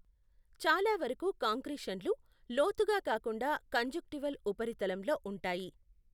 చాలా వరకు కాంక్రీషన్లు లోతుగా కాకుండా కంజుక్టివల్ ఉపరితలంలో ఉంటాయి.